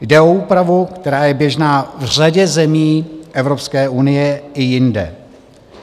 Jde o úpravu, která je běžná v řadě zemí Evropské unie i jinde.